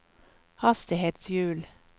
hastighetshjul